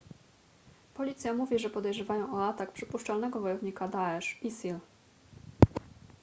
policja mówi że podejrzewają o atak przypuszczalnego wojownika daesh isil